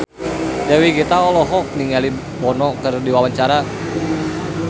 Dewi Gita olohok ningali Bono keur diwawancara